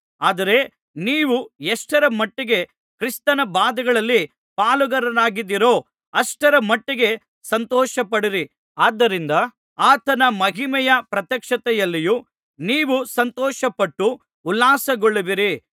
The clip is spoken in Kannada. ಆದರೆ ನೀವು ಎಷ್ಟರ ಮಟ್ಟಿಗೆ ಕ್ರಿಸ್ತನ ಬಾಧೆಗಳಲ್ಲಿ ಪಾಲುಗಾರರಾಗಿದ್ದೀರೋ ಅಷ್ಟರ ಮಟ್ಟಿಗೆ ಸಂತೋಷಪಡಿರಿ ಆದ್ದರಿಂದ ಆತನ ಮಹಿಮೆಯ ಪ್ರತ್ಯಕ್ಷತೆಯಲ್ಲಿಯೂ ನೀವು ಸಂತೋಷಪಟ್ಟು ಉಲ್ಲಾಸಗೊಳ್ಳುವಿರಿ